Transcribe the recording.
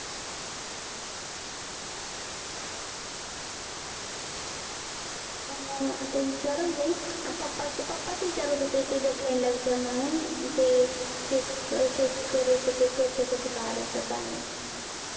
अन मग आता विचारेल मी, papa चं papa चं विचारत होते तुझ्या friend ला विचार म्हणून. ते शेतकरी शेतकऱ्याचं ते कर्ज कसं काढायचं काय नाय.